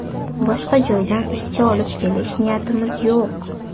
Boshqa joydan ishchi olib kelish niyatimiz yo‘q”.